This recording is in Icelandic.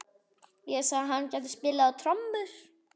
Ég sagði að hann gæti spilað á trommur.